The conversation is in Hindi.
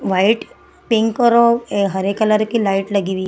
व्हाइट पिंक औरो ए हरे कलर की लाइट लगी हुई।